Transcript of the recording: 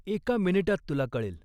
एका मिनिटात तुला कळेल.